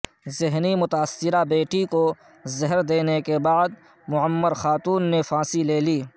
ذہنی متاثرہ بیٹی کو زہر دینے کے بعد معمر خاتون نے پھانسی لے لی